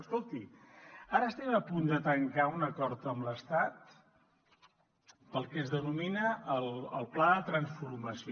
escolti ara estem a punt de tancar un acord amb l’estat pel que es denomina el pla de transformació